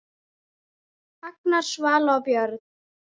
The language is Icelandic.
Agnar, Svala og börn.